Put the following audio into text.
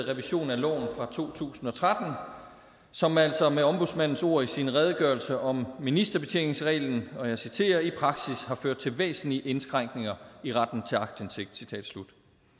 revision af loven fra to tusind og tretten som altså med ombudsmandens ord i sin redegørelse om ministerbetjeningsreglen og jeg citerer i praksis har ført til væsentlige indskrænkninger i retten til aktindsigt citat slut